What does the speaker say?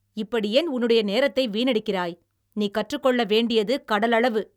இப்படி ஏன் உன்னுடைய நேரத்தை வீணடிக்கிறாய்? நீ கற்றுக்கொள்ள வேண்டியது கடலளவு!